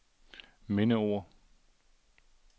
mindeord